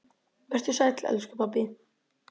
Vertu sæll, elsku pabbi.